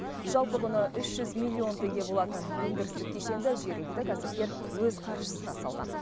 жалпы құны үш жүз миллион теңге болатын өндірістік кешенді жергілікті кәсіпкер өз қаржысына салған